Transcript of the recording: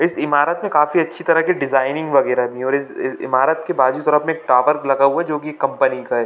इस ईमारत में काफी अच्छी तरह की डिजाइनिंग - वगेरा नहीं और इज इज ईमारत के बाजु जरा एक टावर लगा हुआ है जो की कंपनी का है।